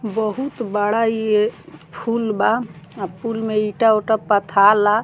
बहुत बड़ा इए फूल बा आ पुल में ईटा-उटा पथाला।